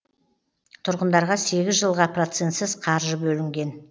тұрғындарға сегіз жылға процентсіз қаржы бөлінген